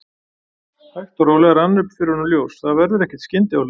Hægt og rólega rann upp fyrir honum ljós: Það verður ekkert skyndiáhlaup.